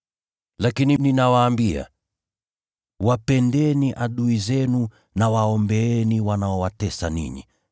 Lakini ninawaambia: Wapendeni adui zenu na waombeeni wanaowatesa ninyi,